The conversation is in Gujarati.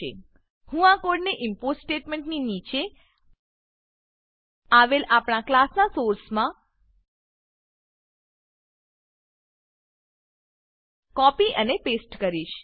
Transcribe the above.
હું આ કોડને ઇમ્પોર્ટ ઈમ્પોર્ટ સ્ટેટમેંટની નીચે આવેલ આપણા ક્લાસનાં સોર્સમાં કોપી અને પેસ્ટ કરીશ